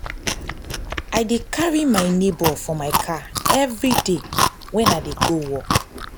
i dey carry my nebor for my car everyday wen i dey go work.